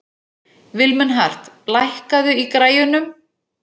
Vilmenhart, lækkaðu í græjunum.